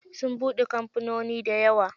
Sun buɗe kamfanoni dayawa.